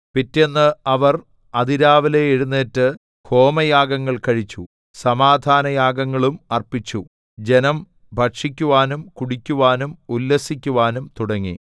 പിറ്റേന്ന് അവർ അതിരാവിലെ എഴുന്നേറ്റ് ഹോമയാഗങ്ങൾ കഴിച്ചു സമാധാനയാഗങ്ങളും അർപ്പിച്ചു ജനം ഭക്ഷിക്കുവാനും കുടിക്കുവാനും ഉല്ലസിക്കുവാനും തുടങ്ങി